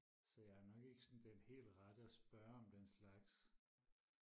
så jeg er nok ikke sådan den helt rette og spørge om den slags